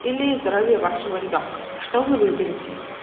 или здоровье вашего ребёнка что вы выберете